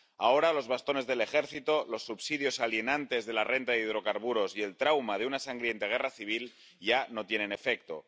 Ahora, los bastones del ejército, los subsidios alienantes de la renta y de hidrocarburos y el trauma de una sangrienta guerra civil ya no tienen efecto.